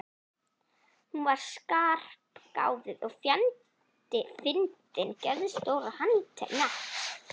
Hún var skarpgáfuð og fjandi fyndin, geðstór og handnett.